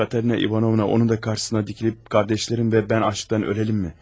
Katerina Ivanovna onu da qarşısına dikilib, qardaşlarım və mən aclıqdan öləlim mi?